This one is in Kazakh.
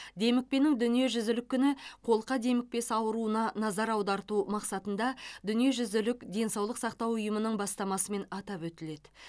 демікпенің дүниежүзілік күні қолқа демікпесі ауруына назар аударту мақсатында дүниежүзілік денсаулық сақтау ұйымының бастамасымен атап өтіледі